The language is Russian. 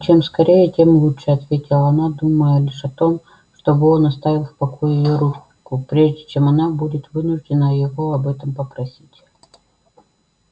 чем скорее тем лучше ответила она думая лишь о том чтобы он оставил в покое её руку прежде чем она будет вынуждена его об этом попросить